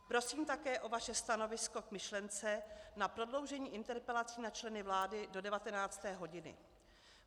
Prosím také o vaše stanovisko k myšlence na prodloužení interpelací na členy vlády do 19. hodiny.